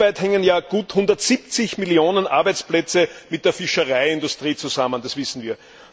Weltweit hängen ja gut 170 Millionen Arbeitsplätze mit der Fischereiindustrie zusammen, das wissen wir.